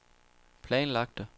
planlagte